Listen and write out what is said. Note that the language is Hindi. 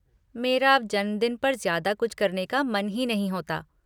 मेरा अब जन्मदिन पर ज़्यादा कुछ करने का मन ही नहीं होता।